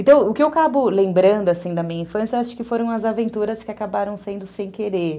Então, o que eu acabo lembrando assim da minha infância, acho que foram as aventuras que acabaram sendo sem querer.